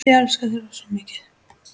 Ég elska þig rosa mikið.